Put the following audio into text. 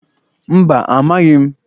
Mba, amaghị m